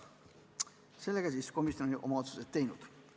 Sellega oli komisjon oma otsused teinud.